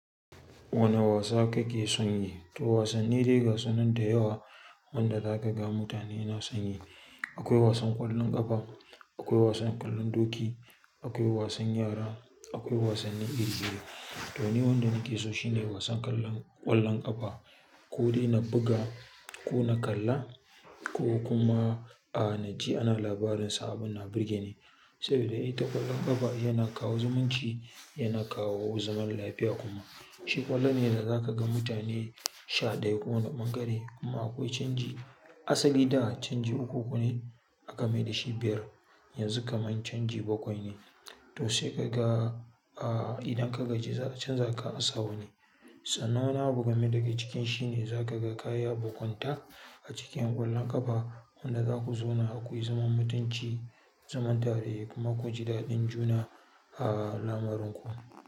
Wane wasa kake son yi? To wasanni dai gasu nan da yawa wanda za ka ga mutane na son yi. Akwai wasan ƙwallon ƙafa, akwai wasan ƙwallon doki, akwai wasan yara, akwai wasannin gargajiya. To ni wanda nake so shine wasan ƙwallon, ƙwallon ƙafa. Ko dai na buga ko na kalla ko kuma a, na ji ana labarin sa abin na burge ni. Saboda ita ƙwallon ƙafa yana kawo zumunci, yana kawo zaman lafiya kuma. Shi ƙwallo ne da zaka ga mutane sha ɗaya kowane bangare kuma akwai canji asali da canji uku uku ne aka maida shi biyar. Yanzu kam yan canji bakwai ne. To sai ka ga a idan ka gaji za a canza ka a sa wani. Sannan wani abu game daga cikin shi ne za ka ga kayi abokanta a cikin ƙwallon ƙafa wanda za ku zauna akwai zaman mutunci, zaman tare kuma ku ji daɗin juna a lamarin ku.